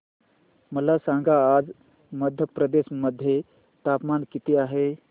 मला सांगा आज मध्य प्रदेश मध्ये तापमान किती आहे